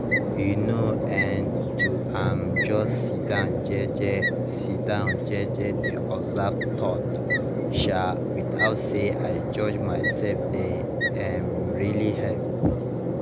you know[um]to um just sidon jeje sidon jeje dey observe thoughts um without say i judge myself dey um really help